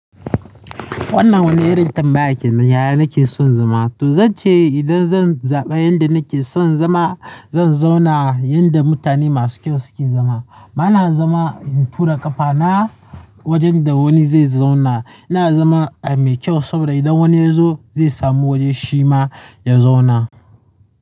Wannan wani irin tambaya kenan. Yaya nake son zama? To zan ce idan zan zaɓa inda nake son zama, zan zauna yinda mutane masu kyau suke zama. Bana zama in tura ƙafana wajen da wani zai zauna. Ina zama a mai kyau saboda idan wani ya zo zai samu wajen shi ma ya zauna.